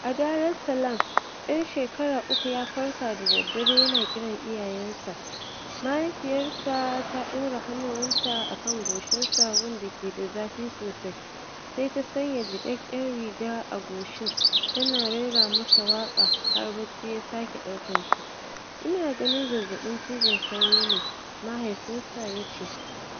A Darussalam, ɗan shekara uku ya farka da daddare yana kiran iyayensa. Mahaifiyarsa ta ɗaura hannuwanta a kan goshinsa, gun da ke da zafi sosai, sai ta sanya jiƙaƙƙen riga a goshin, tana rera masa waƙa har barci ya sake ɗaukar shi. “Ina ganin zazzaɓin cizon sauro ne”, mahaifinsa ya ce.